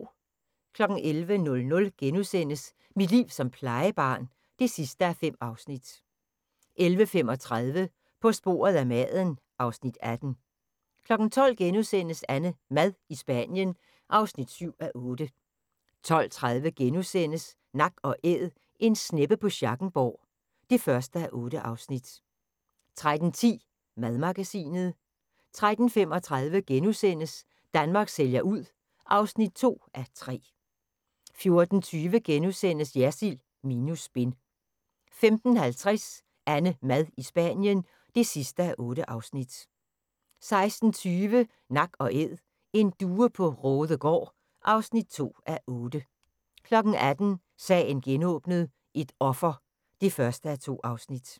11:00: Mit liv som plejebarn (5:5)* 11:35: På sporet af maden (Afs. 18) 12:00: AnneMad i Spanien (7:8)* 12:30: Nak & Æd - En sneppe på Schackenborg (1:8)* 13:10: Madmagasinet 13:35: Danmark sælger ud (2:3)* 14:20: Jersild minus spin * 15:50: AnneMad i Spanien (8:8) 16:20: Nak & Æd: En due på Raadegaard (2:8) 18:00: Sagen genåbnet: Et offer (1:2)